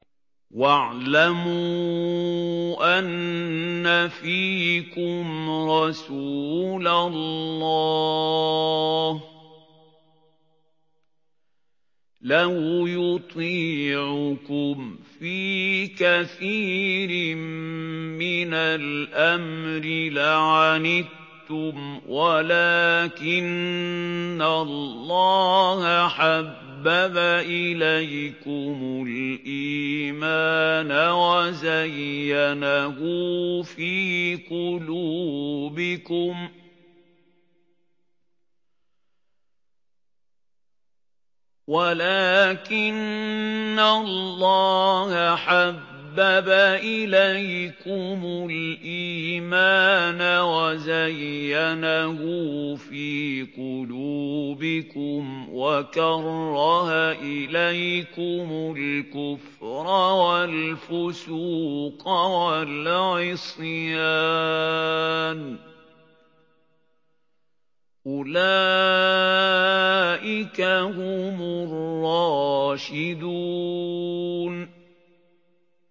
وَاعْلَمُوا أَنَّ فِيكُمْ رَسُولَ اللَّهِ ۚ لَوْ يُطِيعُكُمْ فِي كَثِيرٍ مِّنَ الْأَمْرِ لَعَنِتُّمْ وَلَٰكِنَّ اللَّهَ حَبَّبَ إِلَيْكُمُ الْإِيمَانَ وَزَيَّنَهُ فِي قُلُوبِكُمْ وَكَرَّهَ إِلَيْكُمُ الْكُفْرَ وَالْفُسُوقَ وَالْعِصْيَانَ ۚ أُولَٰئِكَ هُمُ الرَّاشِدُونَ